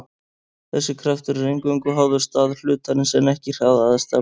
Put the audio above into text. þessi kraftur er eingöngu háður stað hlutarins en ekki hraða eða stefnu